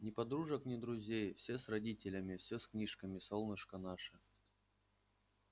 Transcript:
ни подружек ни друзей все с родителями все с книжками солнышко наше